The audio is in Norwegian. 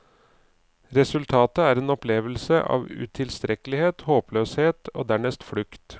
Resultatet er en opplevelse av utilstrekkelighet, håpløshet, og dernest flukt.